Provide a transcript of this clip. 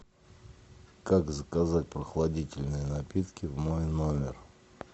как заказать прохладительные напитки в мой номер